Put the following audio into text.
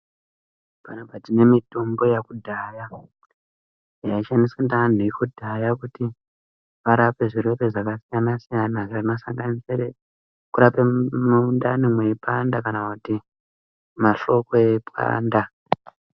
Panapa tine mitombo yekudhaya, yaishandiswa ngeantu ekudhaya kuti varape zvirwere zvakasiyana-siyana zvinosanganisire kurape mundani mweipanda kana kuti mahloko eipanda.